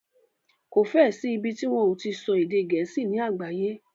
Kò fẹ́ ẹ sí ìbi tí wọ́n o ti so èdè gẹ̀ẹ́sì ní àgbáyé.